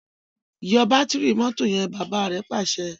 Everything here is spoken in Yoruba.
yọ Bátìrì mọ́tò yen! bàbá rẹ Pàṣẹ.